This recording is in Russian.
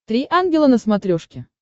три ангела на смотрешке